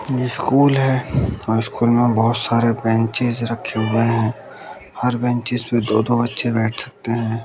ये स्कूल है और स्कूल में बहोत सारे ब्रेनचेज रखे हुए हैं। हर ब्रेनचेज पर दो दो बच्चे बैठ सकते हैं।